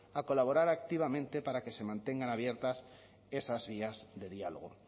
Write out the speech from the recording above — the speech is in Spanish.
a colaborar activamente para que se mantengan abiertas esas vías de diálogo